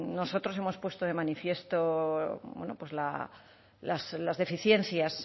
nosotros hemos puesto de manifiesto las deficiencias